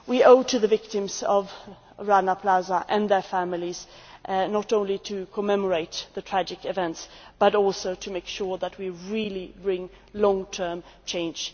We owe it to the victims of Rana Plaza and their families not only to commemorate the tragic events but also to make sure that we really bring about long term change.